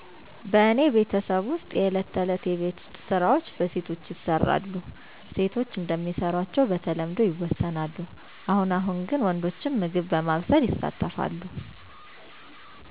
በእኔ ቤተሰብ ውስጥ የእለት ተዕለት የቤት ስራዎች በሴቶች ይሰራሉ። ሴቶች እንደሚሰሯቸው በተለምዶ ይወሰናሉ። አሁን አሁን ወንዶችም ምግብ በማብሰል ይሳተፍሉ።